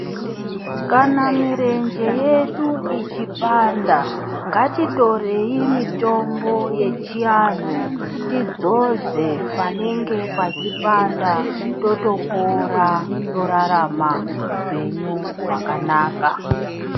Kana mirenje yedu ichipanda, ngatitorei mitombo yechianhu, tidzodze panenge pachipanda. Totopora, torarama upenyu hwakanaka.